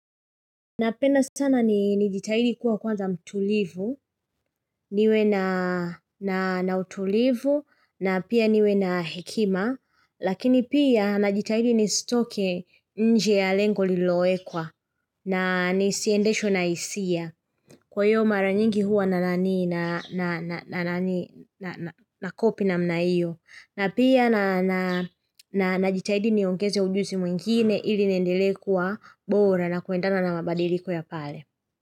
Napenda sana nijitahidi kuwa kwanza mtulivu, niwe na utulivu, na pia niwe na hekima, lakini pia najitahidi nisitoke nje ya lengo lililowekwa, na nisiendeshwe na hisia. Kwa hivyo mara nyingi huwa na na kopi na namna hiyo, na pia najitahidi niongeze ujuzi mwingine ili niendelee kuwa bora na kuendana na mabadiliko ya pale.